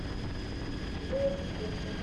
зоя фисенко